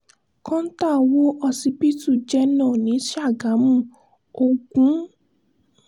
kọ́ńtà wó ọsibítù jẹ̀nà ní ṣàgámù ògún